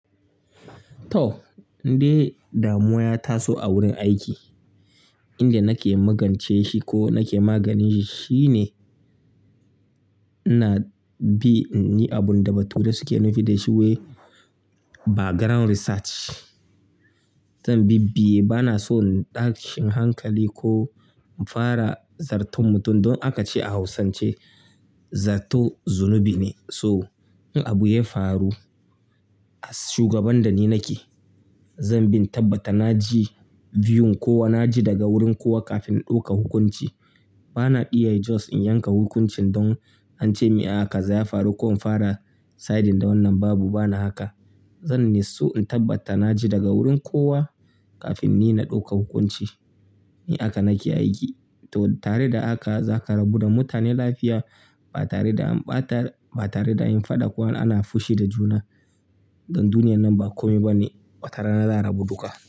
To, in dai damuwa ya taso a wurin aiki inda nake magance shi ko nake maganinshi shi ne ina bi in yi abun da bature suke nufi da shi wai background research. Zan bibiye bana so in tashin hankali ko in fara zarton mutum. Don aka ce a Hausance zato zunubi ne. So in abu ya faru a shugaban da ni nake, zan bin tabbata na ji view kowa na ji daga wurin kowa kafin in ɗauka hukunci. Bana iya just in yanka hukuncin don an ce a kaza ya faru ko in fara siding da wannan babu bana haka. Zan so in tabbata na ji daga wurin kowa kafin ni na ɗauka hukunci. Ni haka nake aiki. To tare da haka za ka rabu da mutane lafiya ba tare da an ɓata ba tare da an faɗa ko ana fushi da juna. Don duniyar nan ba kome bane wata rana za a rabu duka.